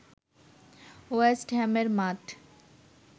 West হ্যামের মাঠ